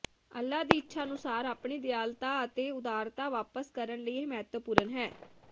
ਅੱਲ੍ਹਾ ਦੀ ਇੱਛਾ ਅਨੁਸਾਰ ਆਪਣੀ ਦਿਆਲਤਾ ਅਤੇ ਉਦਾਰਤਾ ਵਾਪਸ ਕਰਨ ਲਈ ਇਹ ਮਹੱਤਵਪੂਰਨ ਹੈ